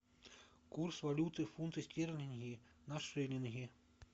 курс валюты фунты стерлинги на шиллинги